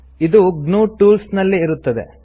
ಇದು GNU tools ನಲ್ಲಿ ಇರುತ್ತದೆ